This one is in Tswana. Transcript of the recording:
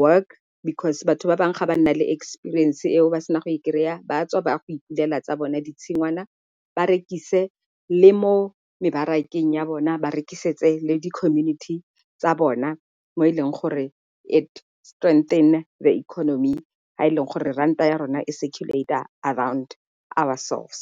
work, because batho ba bangwe ga ba nna le experience eo ba sena go kry-a ba tswa ba go ipulela tsa bone ditshingwana. Ba rekise le mo mebarakeng ya bona ba re rekisetse le di-community tsa bona mo e leng gore it strengthen the economy ha e leng gore ranta ya rona e circulate-a around ourselves.